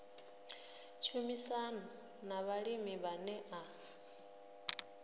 tshumisano na vhalimi vhane a